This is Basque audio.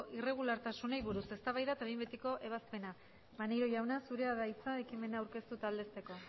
irregulartasunei buruz eztabaida eta behin betiko ebazpena maneiro jauna zurea da hitza ekimena aurkeztu eta aldezteko